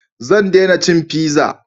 Zan dena cin fiza